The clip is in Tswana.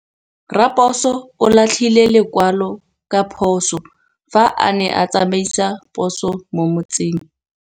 Raposo o latlhie lekwalô ka phosô fa a ne a tsamaisa poso mo motseng.